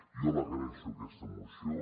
jo l’agraeixo aquesta moció